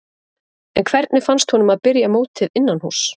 En hvernig fannst honum að byrja mótið innanhúss?